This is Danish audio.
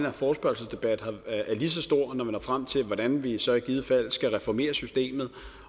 her forespørgselsdebat er lige så stor når vi når frem til hvordan vi så i givet fald skal reformere systemet